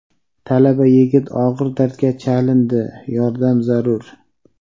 Talaba yigit og‘ir dardga chalindi – yordam zarur.